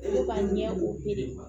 Olu ka ɲɛ o